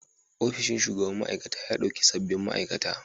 Ofishin shugaban ma'aikata ya ɗauki sabbin ma'aikata.